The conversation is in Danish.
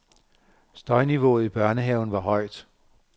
Støjniveauet i børnehaven var højt.